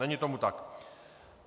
Není tomu tak.